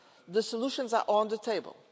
The solutions are on the table.